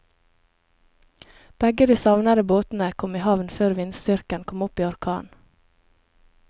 Begge de savnede båtene kom i havn før vindstyrken kom opp i orkan.